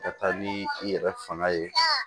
Ka taa ni i yɛrɛ fanga ye